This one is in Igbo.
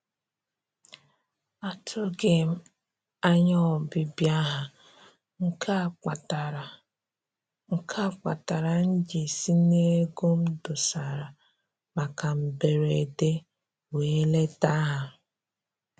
Atụghị m anya ọbịbịa ha, nke a kpatara nke a kpatara m ji si n'ego m dosara maka mberede wee leta ha